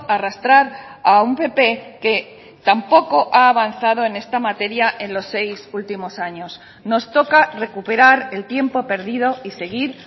arrastrar a un pp que tampoco ha avanzado en esta materia en los seis últimos años nos toca recuperar el tiempo perdido y seguir